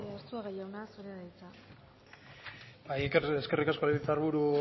arzuaga jauna zurea da hitza eskerrik asko legebiltzar buru